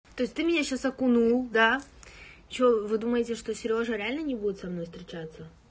то есть ты меня сейчас окунул да что вы думаете что серёжа реально не будет со мной встречаться